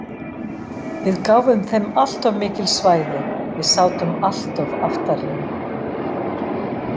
Við gáfum þeim alltof mikil svæði, við sátum alltof aftarlega.